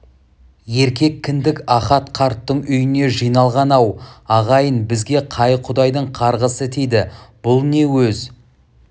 еркек кіндік ахат қарттың үйіне жиналған ау ағайын бізге қай құдайдың қарғысы тиді бұл не өз